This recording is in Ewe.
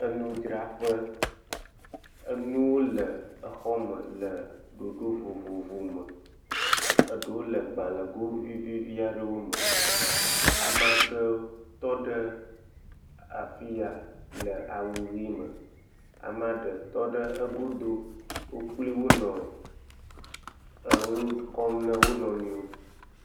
Enudzraƒe. Enuwo le exɔme le ɖoɖo vovovowome. Eɖewo le gbalẽgo vivivi aɖewo me. Amaa ɖewo tɔ ɖe fi ya le awu ʋi me. Amaa ɖe tɔ ɖe egodo. Wo kpliwo nɔ enu kɔm na wo nɔewo.